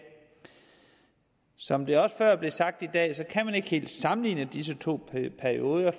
som det også er blevet sagt tidligere i dag kan man ikke helt sammenligne disse to perioder